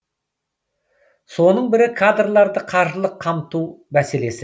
соның бірі кадрларды қаржылық қамту мәселесі